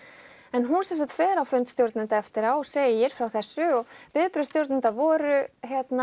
en hún sem sagt fer á fund stjórnenda eftir á og segir frá þessu og viðbrögð stjórnenda voru